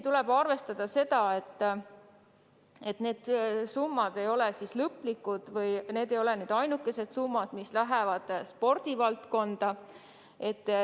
Tuleb arvestada seda, et need summad ei ole ainukesed, mis lähevad spordivaldkonda.